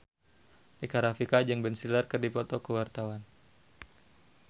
Rika Rafika jeung Ben Stiller keur dipoto ku wartawan